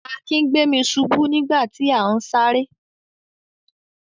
Akin gbé mi ṣubú nígbà tí à ń sáré.